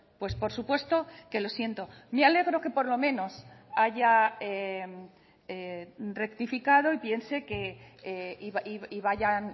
pues por supuesto que lo siento me alegro que por lo menos haya rectificado y piense que y vayan